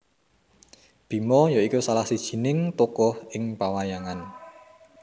Bima ya iku salah sijining tokoh ing pawayangan